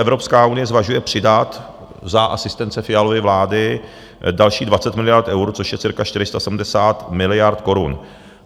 Evropská unie zvažuje přidat za asistence Fialovy vlády další 20 miliard eur, což je cirka 470 miliard korun.